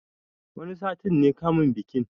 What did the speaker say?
Wani sati ne kamun bikin